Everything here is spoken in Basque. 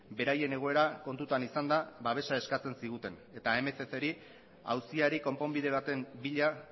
beraien egoera kontutan izanda babesa eskatzen ziguten eta mccri auziari konponbide bat bila